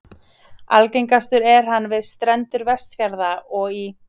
Algengastur er hann við strendur Vestfjarða og í